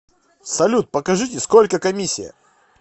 салют покажите сколько комиссия